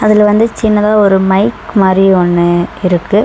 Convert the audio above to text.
அதுல வந்து சின்னதா ஒரு மைக் மாரி ஒன்னு இருக்கு.